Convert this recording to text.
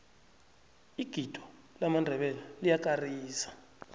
igido lamandebele liyakarisa